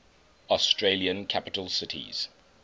australian capital cities